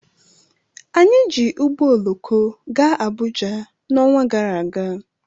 Anyị ji ụgbọ oloko gaa Abụja n' ọnwa gara aga